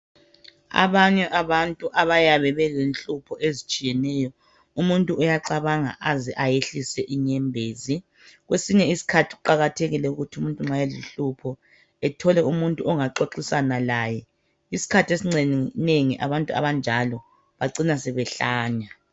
Abanye abantu abayabe belehlupho ezitshiyeneyo. Umuntu uyacabanga aze ayehlise inyembesi. Kwesinye isikhathi kuqakathekile ukuthi umuntu nxa lehlupho ethole umutu wokuxoxisana laye. Isikhathi esinengi, abantu abanjalo bacina sebehlanya.